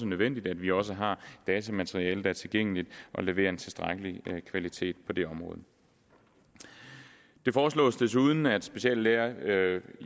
nødvendigt at vi også har datamateriale der er tilgængeligt og leverer en tilstrækkelig kvalitet på det område det foreslås desuden at speciallæger